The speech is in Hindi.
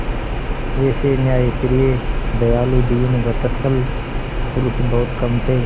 ऐसे न्यायप्रिय दयालु दीनवत्सल पुरुष बहुत कम थे